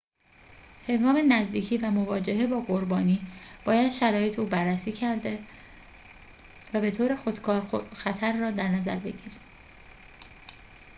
هنگام نزدیکی و مواجهه با قربانی باید شرایط او بررسی کرده و به‌طور خودکار خطر را در نظر بگیریم